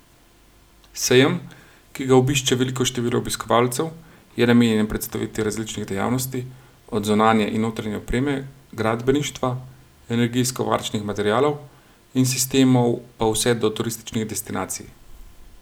Sejem, ki ga obišče veliko število obiskovalcev, je namenjen predstavitvi različnih dejavnosti, od zunanje in notranje opreme, gradbeništva, energijsko varčnih materialov in sistemov pa vse do turističnih destinacij.